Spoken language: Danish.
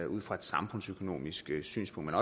ud fra et samfundsøkonomisk synspunkt